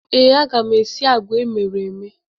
Ee, aga m esi agwa emere eme.